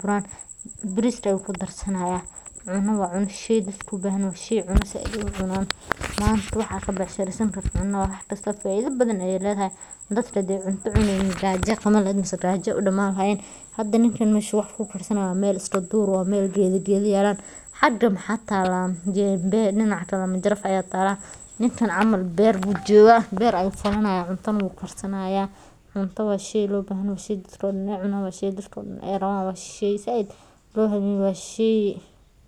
buran, biriska ayu kudarsanaya ,cuna waa cuna washey dadka ubxan yaxay si ay ucunan manta waxa kabecsharesanyso cuna faida badan ayay leedaxay, dadka hadey cunta cuney nin gaajo aya qawan lexed mse gaajo ayay udaman laxayen meshu wax kukarsanayo waa meel iska duur ehh ayy geeda geda, xaga maxa taala jembe dinaca kale manjaraf aya taala ninkan camal beerbujooga ayu falanaya, cunta ayu karsanaya, cunta waa sheyloobaxan yaxay shey dadka oodan ay cunan shey dadka oo dan ay rawan waa dadka oo dan ay said ubaxan yixin .